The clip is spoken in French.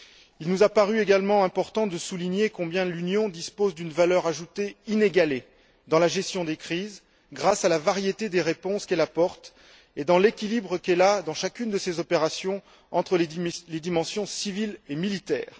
Il nous a paru également important de souligner combien l'Union dispose d'une valeur ajoutée inégalée dans la gestion des crises, grâce à la variété des réponses qu'elle apporte et à l'équilibre qu'elle aménage dans chacune de ses opérations entre les dimensions civile et militaire.